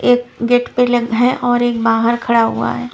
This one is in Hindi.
एक गेट पे लग है और बाहर खड़ा हुआ है।